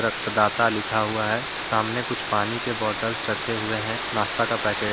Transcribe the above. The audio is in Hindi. रक्तदाता लिखा हुआ है सामने कुछ पानी के बॉटल रखे हुए हैं नाश्ता का पैकेट --